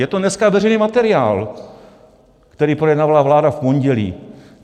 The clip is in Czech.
Je to dneska veřejný materiál, který projednávala vláda v pondělí.